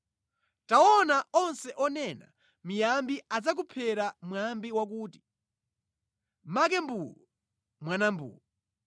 “ ‘Taona, onse onena miyambi adzakuphera mwambi wakuti, ‘Make mbuu, mwana mbuu.’